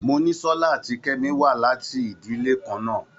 Monísọ́lá àti Kemi wá láti ìdílè kan náà.